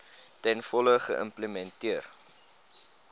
ten volle geïmplementeer